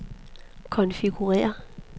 konfigurér